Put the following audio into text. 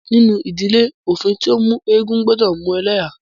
Nínú ìdílé, òfin tí o mú eégún gbọdọ mú ẹlẹ́há.